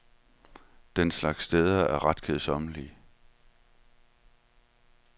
Den slags steder er ret kedsommelige.